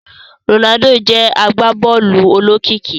Ronaldo jé agbabóòlù olókìkí